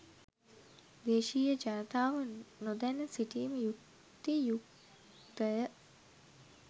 දේශීය ජනතාව නොදැන සිටීම යුක්ති යුක්තය.